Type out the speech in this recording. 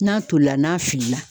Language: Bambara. N'a tolila n'a filila.